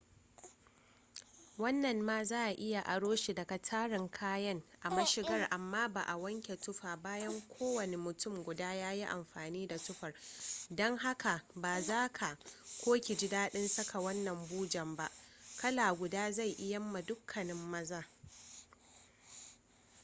wannan ma za a iya aro shi daga tarin kayan a mashigar amma ba a wanke tufa bayan kowane mutum guda ya yi amfani da tufar don haka ba za ka/ki ji dadin saka wannan bujen ba. kala guda zai iyamma dukkanin maza